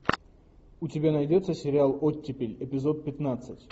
у тебя найдется сериал оттепель эпизод пятнадцать